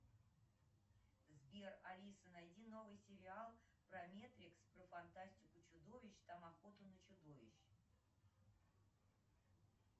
сбер алиса найди новый сериал про метрикс про фантастику чудовищ там охота на чудовищ